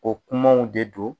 O kumaw de don